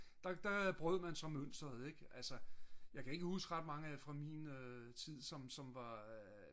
der brød man så mønsteret ik jeg kan ikke huske så mange fra min tid som var